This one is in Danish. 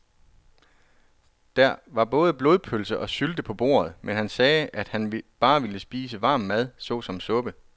Der var både blodpølse og sylte på bordet, men han sagde, at han bare ville spise varm mad såsom suppe.